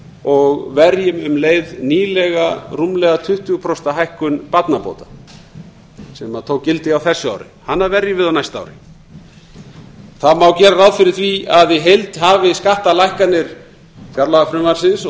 og verjum um leið nýlega rúmlega tuttugu prósenta hækkun barnabóta sem tók gildi á þessu ári hana verjum við á næsta ári það má gera ráð fyrir því að í heild hafi skattalækkanir fjárlagafrumvarpsins og